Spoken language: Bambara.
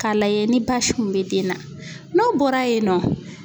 K'a lajɛ ni basi kun bɛ den na n'o bɔra yen nɔ